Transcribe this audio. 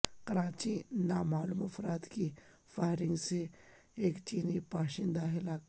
کراچی میں نامعلوم افراد کی فائرنگ سے ایک چینی باشندہ ہلاک